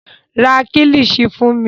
Ra Kílíṣí fún mi